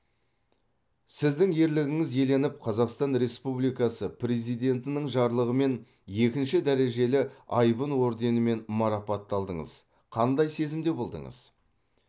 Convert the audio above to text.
сіздің ерлігіңіз еленіп қазақстан республикасы президентінің жарлығымен екінші дәрежелі айбын орденімен марапатталдыңыз қандай сезімде болдыңыз